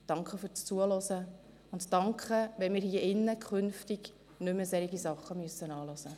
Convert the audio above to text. Danke fürs Zuhören und danke, wenn wir uns hier drinnen künftig nicht mehr solche Sachen anhören müssen.